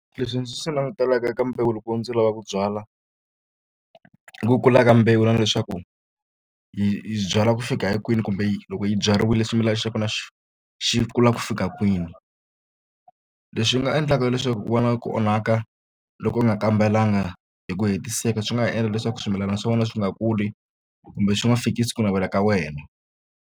Leswi ndzi swi langutelaka eka mbewu loko ndzi lava ku byala ku kula ka mbewu na na leswaku yi byala ku fika hi kwini kumbe yi loko yi byariwile swimilana xa kona xi xi kula ku fika kwini kwini leswi nga endlaka leswaku ku va na ku onhaka loko u nga kambelanga hi ku hetiseka swi nga ha endla leswaku swimilana swa wena swi nga kuli kumbe swi nga fikisi ku navela ka wena.